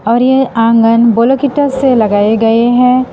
और यह आंगन ब्लॉक इटा से लगाए गए हैं।